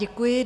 Děkuji.